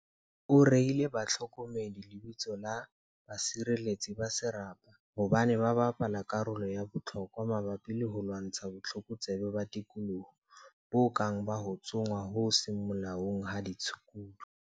O reile bahlokomedi lebitso la 'basireletsi ba serapa' hobane ba bapala karolo ya bohlokwa mabapi le ho lwantsha botlokotsebe ba tikoloho, bo kang ba ho tsongwa ho seng molaong ha ditshukudu.